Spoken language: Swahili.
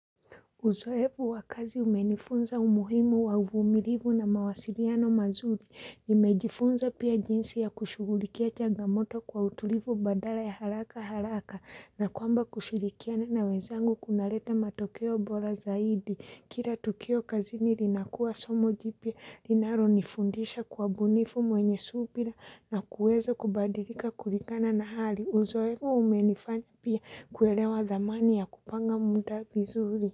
Uzoevu wa kazi umenifunza umuhimu wa uvumilivu na mawasiliano mazuri. Nimejifunza pia jinsi ya kushugulikia chagamoto kwa utulivu badala ya haraka haraka na kwamba kushirikiana na wenzangu kunaleta matokeo bora zaidi. Kila tukio kazini linakuwa somo jipya, linalonifundisha kuwa bunifu mwenye subira na kuweza kubadilika kulingana na hali. Uzoevu umenifanya pia kuelewa dhamani ya kupanga muda vizuri.